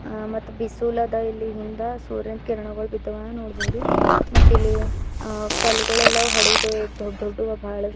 ಮತ್ ಬಿಸಿಲುದ ಇಲ್ಲಿ ಹಿಂದ ಸೂರ್ಯನ ಕಿರಣಗಳ್ ಬಿದ್ದಾವ ನೋಡ್ಬೋದು ಮತ್ತಿಲ್ಲಿ ಕಲ್ಗಳೆಲ್ಲವು ಅಳಿದು ದೊಡ್ಡ ದೊಡ್ಡುವೆ ಬಹಳಷ್ಟು--